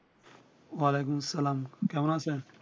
অলাইকুমসালাম কেমন আছেন?